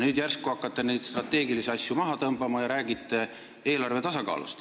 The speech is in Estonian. Nüüd järsku hakkate neid strateegilisi asju maha tõmbama ja räägite eelarve tasakaalust.